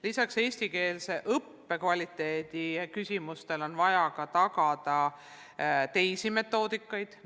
Lisaks eestikeelse õppe heale kvaliteedile on vaja tagada, et rakendataks mitmesuguseid metoodikaid.